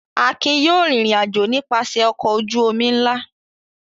Akin yóò rìnrìn-àjò nípasẹ̀ ọkọ̀ ojú-omi ńlá!